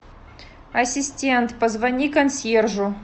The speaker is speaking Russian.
ассистент позвони консьержу